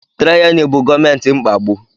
Taịrani bụ gọọmenti mkpagbu.